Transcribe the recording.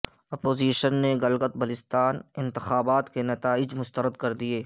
opposition نے گلگت بلتستان انتخابات کے نتائج مسترد کر دیے